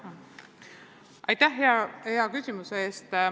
Aitäh hea küsimuse eest!